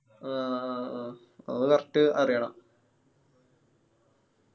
ആ ആ അത് correct അറിയണം.